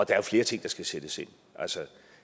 er jo flere ting der skal sættes ind